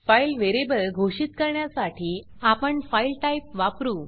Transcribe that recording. file variable घोषित करण्यासाठी आपण फाइल टाइप वापरु